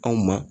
Anw ma